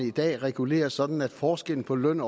i dag reguleres sådan at forskellen på løn